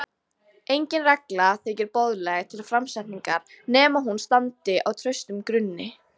Engin regla þykir boðleg til framsetningar nema hún standi á traustum grunni.